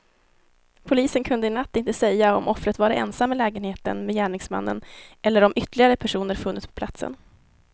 Polisen kunde i natt inte säga om offret varit ensam i lägenheten med gärningsmännen eller om ytterligare personer funnits på platsen.